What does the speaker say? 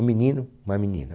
Um menino, uma menina.